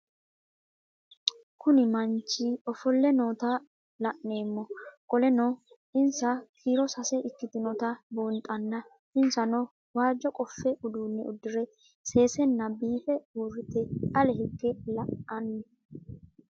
Kuni mannich ofoole noota la'nemo qoleno insa kiiro sase ikinotana bunxana insano waajo qofe udune udire sesena biife urite ale hige la'ani